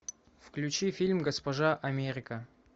включи фильм госпожа америка